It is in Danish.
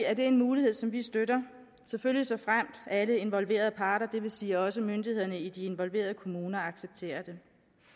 er det en mulighed som vi støtter selvfølgelig såfremt alle involverede parter det vil sige også myndighederne i de involverede kommuner accepterer det